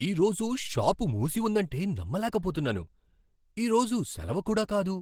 ఈరోజు షాప్ మూసి ఉందంటే నమ్మలేకపోతున్నాను! ఈరోజు సెలవు కూడా కాదు.